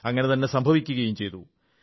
അങ്ങനെതന്നെ സംഭവിക്കുകയും ചെയ്തു